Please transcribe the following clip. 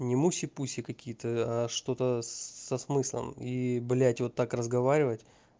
не муси пуси какие-то а что-то со смыслом и блядь вот так разговаривать